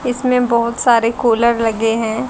इसमें बहुत सारे कूलर लगे हैं।